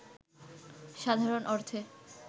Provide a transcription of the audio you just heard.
সাধারণ অর্থে